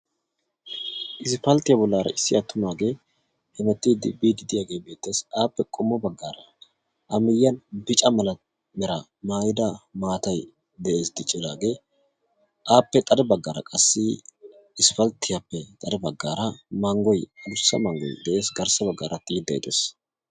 Ispalttiya bollaara issi attumaage hemettidi biidi diyaage beettees. Appe qommo baggaara a miyyiyaan bicca mala mera maayyida maatay de'ees diccidaage. Appe xade baggaara qass ispalttiyaappe xade baggaara manggoy addussa manggoy de'ees garssa baggara xiiday de'ees.